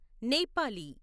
Nepali